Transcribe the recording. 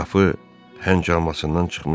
Qapı həncalmasından çıxmışdı.